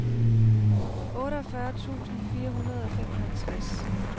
otteogfyrre tusind fire hundrede og femoghalvtreds